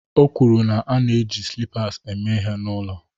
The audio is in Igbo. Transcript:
O kwuru na ana-eji slippers eme ihe n'ụlọ